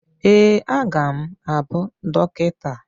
ee, a ga m abụ dọkịta